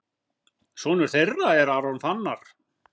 Sonur þeirra er Aron Fannar.